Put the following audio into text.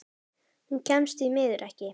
Hún kemst því miður ekki.